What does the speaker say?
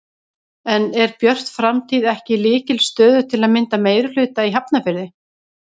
En er Björt framtíð ekki í lykilstöðu til að mynda meirihluta í Hafnarfirði?